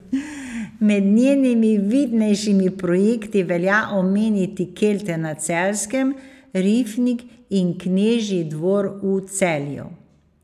Med njenimi vidnejšimi projekti velja omeniti Kelte na Celjskem, Rifnik in Knežji dvor v Celju.